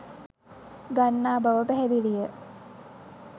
ගන්නා බව පැහැදිළිය